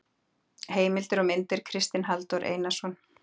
Heimildir og myndir: Kristinn Halldór Einarsson.